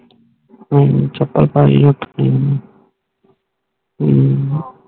ਹੱਮ ਚੈਪਲ ਪੈ ਉੱਠ ਕੇ ਹੱਮ